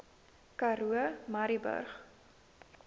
karoo murrayburg